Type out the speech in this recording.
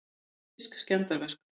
Pólitísk skemmdarverk